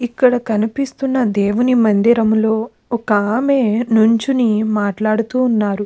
ఇక్కడ కనిపిస్తున్న దేవుని మందిరంలో ఒక ఆమె నించుని మాట్లాడుతు ఉన్నారు.